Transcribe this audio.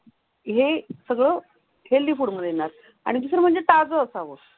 हे सगळं healthy food येणार आणि जर म्हणजे ताज असावं.